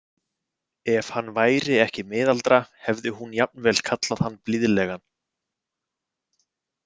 Ef hann væri ekki miðaldra hefði hún jafnvel kallað hann blíðlegan.